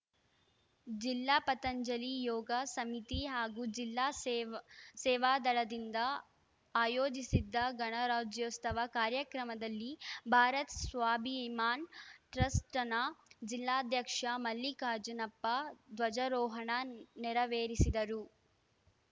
ಜಿಲ್ಲಾ ಪತಂಜಲಿ ಯೋಗ ಸಮಿತಿ ಹಾಗೂ ಜಿಲ್ಲಾ ಸೇವ್ ಸೇವಾದಳದಿಂದ ಆಯೋಜಿಸಿದ್ದ ಗಣರಾಜ್ಯೋತ್ಸವ ಕಾರ್ಯಕ್ರಮದಲ್ಲಿ ಭಾರತ್‌ ಸ್ವಾಭಿಮಾನ್‌ ಟ್ರಸ್ಟ್‌ನ ಜಿಲ್ಲಾಧ್ಯಕ್ಷ ಮಲ್ಲಿಕಾರ್ಜುನಪ್ಪ ಧ್ವಜಾರೋಹಣ ನೆರವೇರಿಸಿದರು